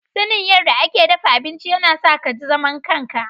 Sanin yadda ake dafa abinci yana sa ka ji zaman kanka.